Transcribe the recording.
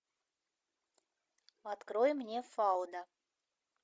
открой мне фауда